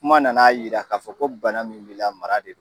Kuma nana yira ka fɔ ko bana min b'i la ko mara de don.